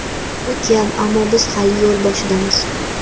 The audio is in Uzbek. Bu kam, ammo biz hali yo‘l boshidamiz.